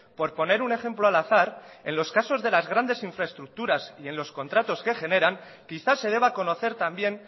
por poner un ejemplo al azar en los casos de las grandes infraestructuras y en los contratos que generan quizás se deba conocer también